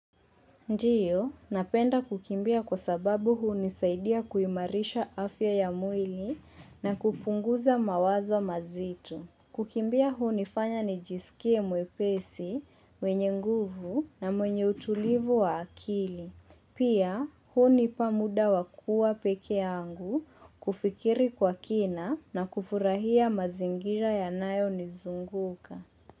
Ndiyo, napenda kukimbia kwa sababu hunisaidia kuimarisha afya ya mwili na kupunguza mawazo mazito. Kukimbia hunifanya ni jisikie mwepesi, mwenye nguvu na mwenye utulivu wa akili. Pia hunipa muda wa kuwa peke yangu kufikiri kwa kina na kufurahia mazingira ya nayo nizunguka.